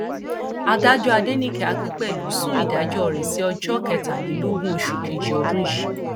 adájọ adẹnìke akínpẹlú sún ìdájọ rẹ sí ọjọ kẹtàlélógún oṣù kejì ọdún yìí